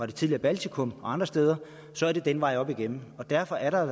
det tidligere baltikum og andre steder så er det den vej op igennem og derfor er der